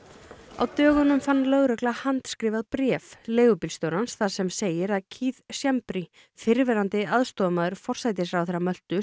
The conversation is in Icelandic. á dögunum fann lögregla handskrifað bréf leigubílstjórans þar sem segir að Keith Schembri fyrrverandi aðstoðarmaður forsætisráðherra Möltu